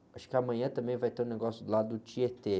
Acho que amanhã também vai ter um negócio lá do Tietê.